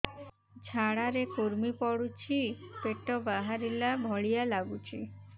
ଝାଡା ରେ କୁର୍ମି ପଡୁଛି ପେଟ ବାହାରିଲା ଭଳିଆ ଲାଗୁଚି